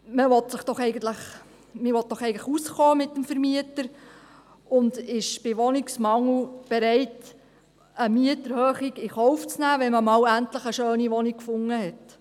Man will doch eigentlich gut auskommen mit dem Vermieter und ist bei Wohnungsmangel bereit, eine Mieterhöhung in Kauf zu nehmen, wenn man mal endlich eine schöne Wohnung gefunden hat.